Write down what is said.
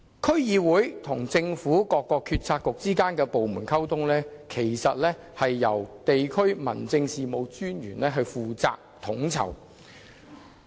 區議會與政府各政策局及部門之間的溝通，其實由地區民政事務專員負責統籌。